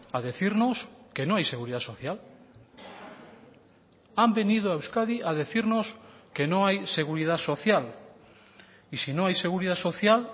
a decirnos que no hay seguridad social han venido a euskadi a decirnos que no hay seguridad social y si no hay seguridad social